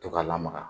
To ka lamaka